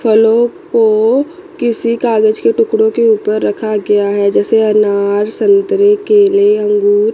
फलों को किसी कागज के टुकड़ों के ऊपर रखा गया है जैसे अनार संतरे केले अंगूर--